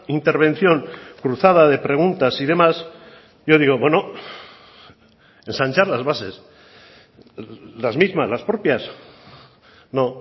intervención cruzada de preguntas y demás yo digo bueno ensanchar las bases las mismas las propias no